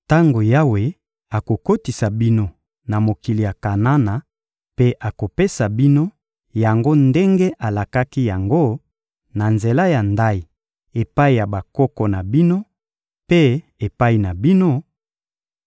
Tango Yawe akokotisa bino na mokili ya Kanana mpe akopesa bino yango ndenge alakaki yango, na nzela ya ndayi, epai ya bakoko na bino mpe epai na bino,